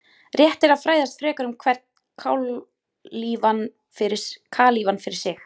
Rétt er að fræðast frekar um hvern kalífa fyrir sig.